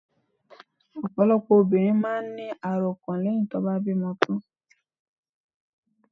Ọ̀pọ̀lọpọ̀ obìnrin máà ń ní àròkàn lẹ́hìn tí wọ́n bá bímọ tán.